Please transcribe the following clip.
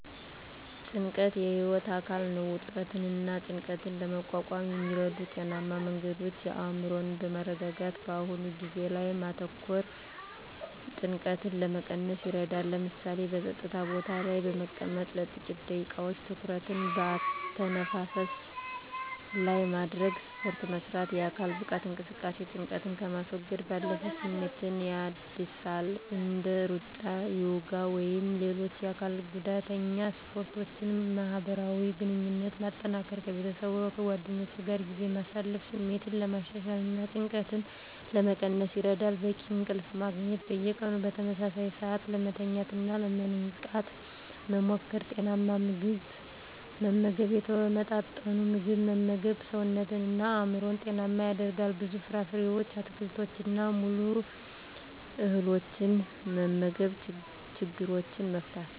ጭንቀት የህይወት አካል ነው። ውጥረትንና ጭንቀትን ለመቋቋም የሚረዱ ጤናማ መንገዶች አእምሮን በማረጋጋት በአሁኑ ጊዜ ላይ ማተኮር ጭንቀትን ለመቀነስ ይረዳል። ለምሳሌ፣ በጸጥታ ቦታ ላይ በመቀመጥ ለጥቂት ደቂቃዎች ትኩረትን በአተነፋፈስ ላይ ማድረግ። ስፖርት መስራት: የአካል ብቃት እንቅስቃሴ ጭንቀትን ከማስወገድ ባለፈ ስሜትን ያድሳል። እንደ ሩጫ፣ ዮጋ ወይም ሌሎች የአካል ጉዳተኛ ስፖርቶችን ማህበራዊ ግንኙነትን ማጠናከር ከቤተሰብና ከጓደኞች ጋር ጊዜ ማሳለፍ ስሜትን ለማሻሻልና ጭንቀትን ለመቀነስ ይረዳል። በቂ እንቅልፍ ማግኘት። በየቀኑ በተመሳሳይ ሰዓት ለመተኛትና ለመንቃት መሞከር። ጤናማ ምግብ መመገብ የተመጣጠነ ምግብ መመገብ ሰውነትንና አእምሮን ጤናማ ያደርጋል። ብዙ ፍራፍሬዎችን፣ አትክልቶችንና ሙሉ እህሎችን መመገብ። ችግሮችን መፍታት።